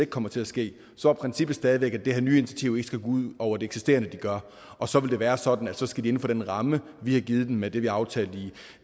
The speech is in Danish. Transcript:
kommer til at ske så er princippet stadig væk at det her nye initiativ ikke skal gå ud over det eksisterende de gør og så vil det være sådan at så skal de inden for den ramme vi har givet dem med det vi aftalte